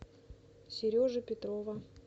сережи петрова